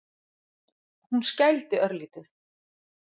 Hún skældi örlítið.